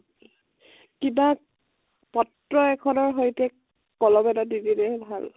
কিবা পত্ৰ এখনৰ সৈতে কলম এটা দি দিলে ভাল।